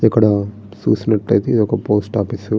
ఇక్కడ చూసినట్లయితే ఇది ఒక పోస్ట్ ఆఫీస్ .